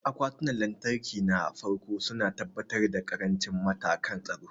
Akwatunan lantarki na farko su na tabbatar da ƙarancin matakan tsaro.